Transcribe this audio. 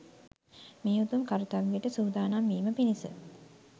මේ උතුම් කර්ත්‍යවයට සූදානම් වීම පිණිස